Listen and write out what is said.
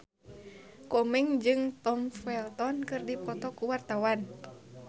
Komeng jeung Tom Felton keur dipoto ku wartawan